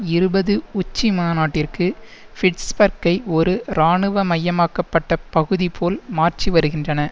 இருபது உச்சிமாநாட்டிற்கு பிட்ஸ்பர்க்கை ஒரு இராணுவ மையமாக்கப்பட்ட பகுதி போல் மாற்றி வருகின்றன